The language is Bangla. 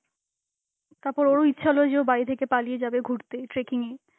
তারপর ওরও ইচ্ছা হল যে ও বাড়ি থেকে পালিয়ে যাবে ঘুরতে, trekking এ.